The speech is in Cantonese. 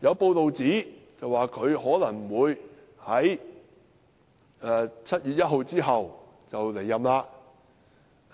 有報道指他可能會在7月1日後離任，屆